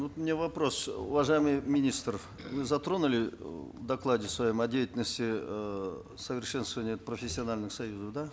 вот у меня вопрос уважаемый министр вы затронули в докладе своем о деятельности эээ совершенствования профессиональных союзов да